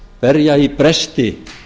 berja í bresti